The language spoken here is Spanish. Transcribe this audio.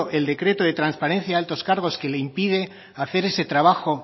del decreto de transparencia de altos cargos que le impide hacer ese trabajo